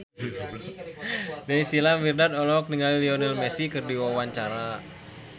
Naysila Mirdad olohok ningali Lionel Messi keur diwawancara